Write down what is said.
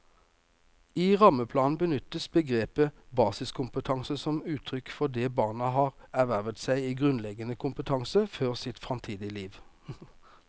I rammeplanen benyttes begrepet basiskompetanse som uttrykk for det barna har ervervet av grunnleggende kompetanse for sitt framtidige liv.